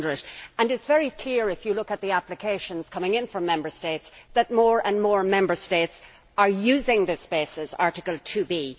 500. It is very clear, if you look at the applications coming in from Member States, that more and more Member States are using this basis, Article 2b.